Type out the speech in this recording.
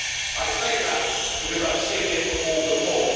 I say that because I've seen it all before.